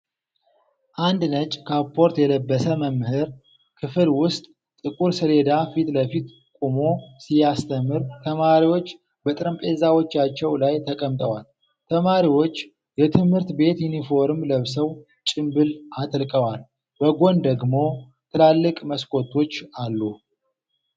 አንድ ነጭ ካፖርት የለበሰ መምህር ክፍል ውስጥ ጥቁር ሰሌዳ ፊት ለፊት ቆሞ ሲያስተምር ተማሪዎች በጠረጴዛዎቻቸው ላይ ተቀምጠዋል። ተማሪዎች የትምህርት ቤት ዩኒፎርም ለብሰው ጭምብል አጥልቀዋል፤ በጎን ደግሞ ትላልቅ መስኮቶች አሉ።